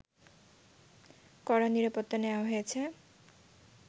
কড়া নিরাপত্তা নেওয়া হয়েছে